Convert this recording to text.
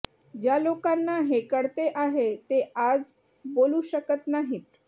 ज्या लोकांना हे कळते आहे ते आज बोलू शकत नाहीत